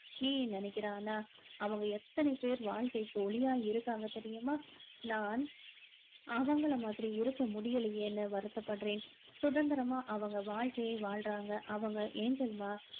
நினைக்கிறாங்கன்னா அவங்க எத்தனை பேர் வாழ்க்கைக்கு ஒளியா இருக்காங்க தெரியுமா நான் அவங்கள மாதிரி இருக்க முடியலையேன்னு வருத்தப்படுறேன் சுதந்திரமா அவங்க வாழ்க்கைய வாழ்றாங்க அவங்க angel மா